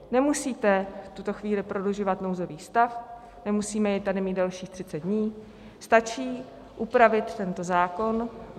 Nemusíte v tuto chvíli prodlužovat nouzový stav, nemusíme jej tady mít dalších 30 dní, stačí upravit tento zákon.